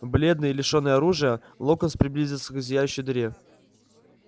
бледный лишённый оружия локонс приблизился к зияющей дыре